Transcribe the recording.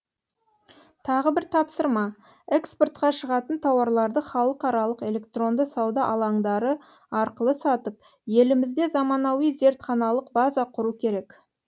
тағы бір тапсырма экспортқа шығатын тауарларды халықаралық электронды сауда алаңдары арқылы сатып елімізде заманауи зертханалық база құру керек